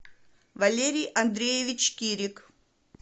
валерий андреевич кирик